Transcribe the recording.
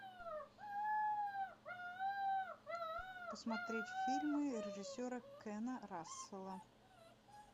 посмотреть фильмы режиссера кена рассела